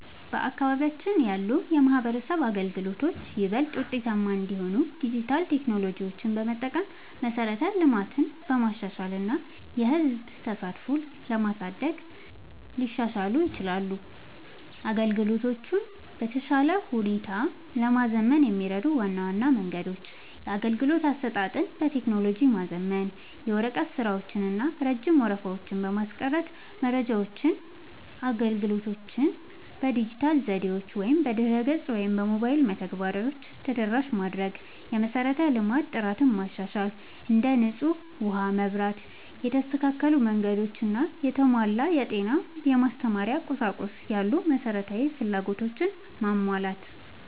በአካባቢያችን ያሉ የማህበረሰብ አገልግሎቶች ይበልጥ ውጤታማ እንዲሆኑ ዲጂታል ቴክኖሎጂዎችን በመጠቀም፣ መሠረተ ልማትን በማሻሻል እና የህዝብ ተሳትፎን በማሳደግ ሊሻሻሉ ይችላሉ። አገልግሎቶቹን በተሻለ ሁኔታ ለማዘመን የሚረዱ ዋና ዋና መንገዶች - የአገልግሎት አሰጣጥን በቴክኖሎጂ ማዘመን፦ የወረቀት ስራዎችን እና ረጅም ወረፋዎችን ለማስቀረት መረጃዎችንና አገልግሎቶችን በዲጂታል ዘዴዎች (በድረ-ገጽ ወይም በሞባይል መተግበሪያዎች) ተደራሽ ማድረግ። የመሠረተ ልማት ጥራትን ማሻሻል፦ እንደ ንጹህ ውሃ፣ መብራት፣ የተስተካከሉ መንገዶች እና የተሟላ የጤና/የማስተማሪያ ቁሳቁስ ያሉ መሠረታዊ ፍላጎቶችን ማሟላት።